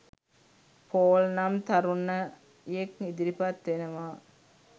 Paul නම් තරුණයෙක් ඉදිරිපත් වෙනවා